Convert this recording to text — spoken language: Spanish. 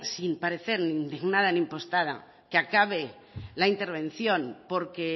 sin parecer ni indignada ni impostada que acabe la intervención porque